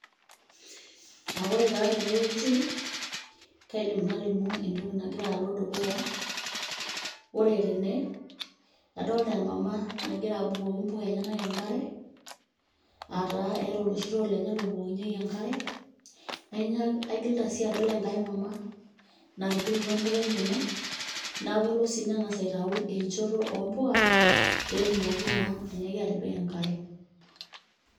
Aah oore taa teene wueji, kaidim nalimu entoki nagira aalo dukuya, oore teene, adolta emama nagira abukoki impuk a enyenak enkare, aah taa eeta oloshi too lenye lobukokinyieki enkare, aigilita sii adol enkae mamaa natubulutua impuka enyenak, naiku kelo sii neng'as aitau enchoto ompuka, peyie etumoki naa ainyiaki atipika enkare.